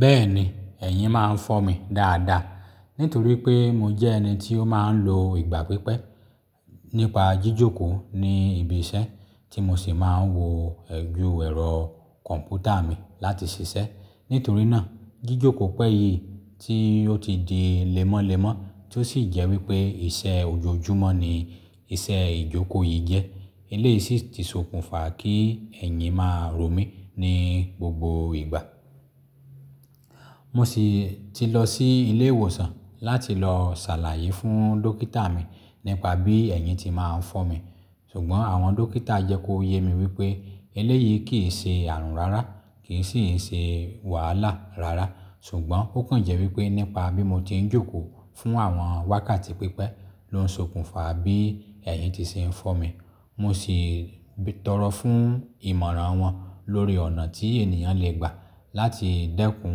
Bẹ́ẹ̀ni, ẹ̀yìn máa ń fọ́ mi dáadáa. Nítorí pé mo jẹ́ ẹni tí ó máa ń lo ìgbà pípẹ́ nípa jíjòkòó ní ibi iṣẹ́ tí mo sì máa ń wo ojù ẹrọ kọ̀ǹpútà mi láti ṣiṣẹ́. Nítorí náà, jíjòkòó pẹ́ yìí tí ó ti di lẹ́mọ́ lẹ́mọ́ tó sì jẹ́ wípé iṣẹ́ ojoojúmọ́ ni iṣẹ́ ìjòkòó yìí jẹ́. Eleyìí sì ti sokùnfà kí ẹ̀yìn máa rò mí ní gbogbo ìgbà. Mo siì ti lọ sí ilé ìwòsàn láti lọ ṣàlàyé fún dókítà mi nípa bí ẹ̀yìn ti máa ń fọ́ mi. Ṣùgbọ́n àwọn dókítà jẹ́ kó yé mi wípé eleyìí kìí ṣe ààrùn rárá, kìí sìi ṣe wàhálà rárá. Ṣùgbọ́n ó kàn jẹ́ wípé nípa bí mo ti ń jókòó fún àwọn wákàtí pípẹ́ ló ń sokùnfà bí ẹ̀yìn ti ṣe ń fọ́ mi. Mo sì tọ̀rọ̀ fún ìmọ̀ràn wọn lórí ọ̀nà tí ènìyàn le gbà láti dẹ́kun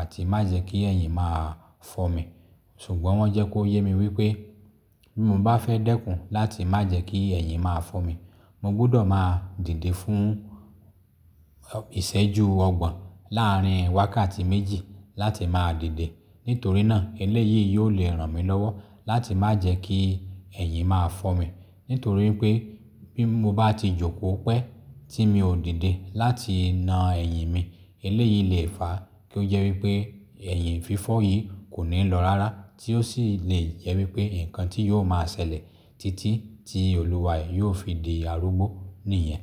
àti má jẹ́ kí ẹ̀yìn máa fọ́ mi. Ṣùgbọ́n wọ́n jẹ́ kó yé mi wípé bí mo bá fẹ́ dẹ́kun láti má jẹ́ kí ẹ̀yìn máa fọ́ mi, mo gbudọ̀ máa dìde fún ìṣẹ́juu ọgbọ̀n láàrin wákàtí méjì láti máa dìde. Nítorí náà eleyìí yóò le ràn mí lọ́wọ́ láti má jẹ́ kí ẹ̀yìn máa fọ́ mi. Nítorí pé bí mo bá ti jókòó pẹ́ tí mi ò dìde láti na ẹ̀yìn mi, eleyìí le fà á kí ó jẹ́ wípé ẹ̀yìn fífọ́ yìí kò ní lọ rárá tí ó sì lè jẹ́ wípé ǹkan tí yóò máa ṣẹlẹ̀ títí tí Olúwa e yóò fi di arúgbó nìyẹn.